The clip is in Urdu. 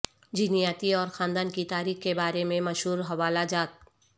جینیاتی اور خاندان کی تاریخ کے بارے میں مشہور حوالہ جات